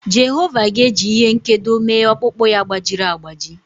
Jehova ga-eji ihe nkedo mee ọkpụkpụ ya gbajiri agbaji.